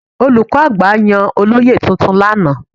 Olùkọ́ àgbà yàn àwọn olóyè tuntun lánàá.